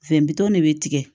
Fɛn bitɔn de bɛ tigɛ